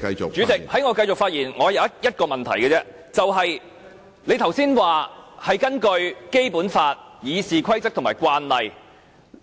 主席，在我繼續發言前，我有一個問題而已，你剛才說是根據《基本法》、《議事規則》和慣例，